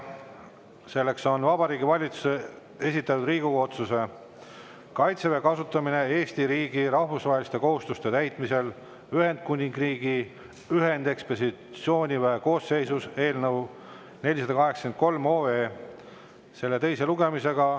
See on Vabariigi Valitsuse esitatud Riigikogu otsuse "Kaitseväe kasutamine Eesti riigi rahvusvaheliste kohustuste täitmisel Ühendkuningriigi ühendekspeditsiooniväe koosseisus" eelnõu 483 teine lugemine.